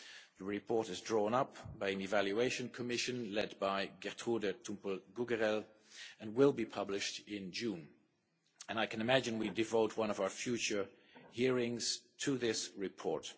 The report is being drawn up by an evaluation commission led by Gertrude Tumpel Gugerell and will be published in June, and I can imagine we will devote one of our future hearings to this report.